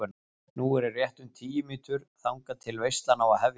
Nú eru rétt um tíu mínútur þangað til veislan á að hefjast.